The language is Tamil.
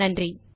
நன்றி